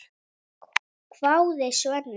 hváði Svenni.